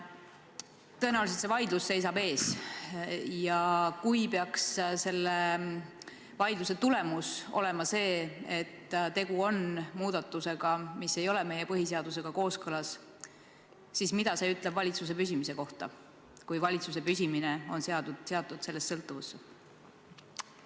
Tõenäoliselt see vaidlus seisab ees ja kui peaks selle vaidluse tulemus olema järeldus, et tegu on muudatusega, mis ei ole meie põhiseadusega kooskõlas, siis mida see ütleb valitsuse püsimise kohta, kui valitsuse püsimine on seatud sellest sõltuvusse?